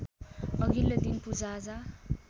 अघिल्लो दिन पूजाआजा